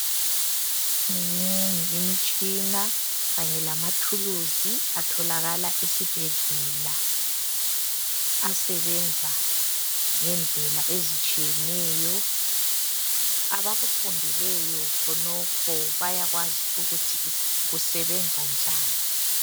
Minengi imitshina Kanye lama thuluzi atholakala esibhedlela asebenza ngendlela ezitshiyeneyo . Abakufundeleyo khonokho bayakwazi ukuthi kusebenza njani .